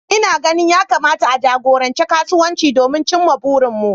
Ina ganin ya kamata a jagoranci kasuwancin don cimma burinmu